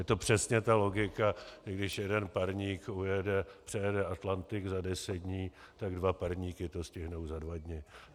Je to přesně ta logika, jako když jeden parník přejede Atlantik za deset dní, tak dva parníky to stihnou za dva dny.